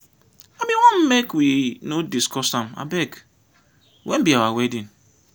i bin wan make we no discuss am. abeg wen be our wedding?